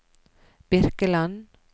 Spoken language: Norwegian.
Birkeland